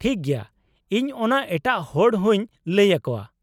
-ᱴᱷᱤᱠ ᱜᱮᱭᱟ, ᱤᱧ ᱚᱱᱟ ᱮᱴᱟᱜ ᱦᱚᱲ ᱦᱚᱸᱧ ᱞᱟᱹᱭ ᱟᱠᱚᱣᱟ ᱾